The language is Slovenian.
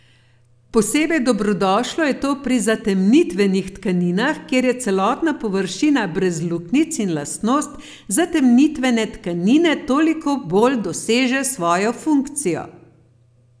Posebej dobrodošlo je to pri zatemnitvenih tkaninah, kjer je celotna površina brez luknjic in lastnost zatemnitvene tkanine toliko bolj doseže svojo funkcijo.